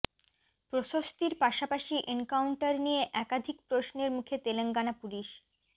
প্রশস্তির পাশাপাশি এনকাউন্টার নিয়ে একাধিক প্রশ্নের মুখে তেলঙ্গানা পুলিশ